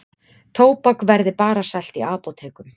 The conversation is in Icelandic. Tóbak verði bara selt í apótekum